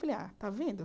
Falei, ah está vendo?